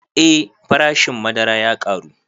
Eh farashin madara ya ƙaru